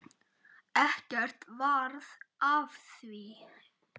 Ekkert varð af því.